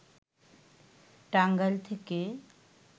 টাঙ্গাইল থেকে